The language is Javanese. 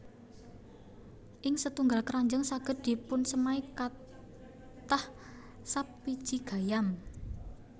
Ing setunggal kranjang saged dipunsemai kathah sap wiji gayam